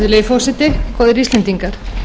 virðulegi forseti góðir íslendingar